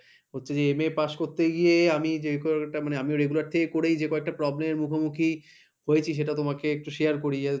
হচ্ছে যে MA pass করতে গিয়ে আমি যে কয়টা মানে আমিও regular থেকে করে যে কয়েকটা problem এর মুখোমুখি হয়েছি সেটা তোমাকে একটু share করি যাতে তোমারও